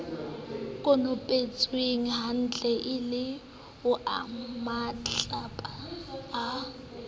konopetswenghantle e le onamatlapa a